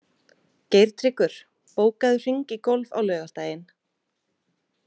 Geirtryggur, bókaðu hring í golf á laugardaginn.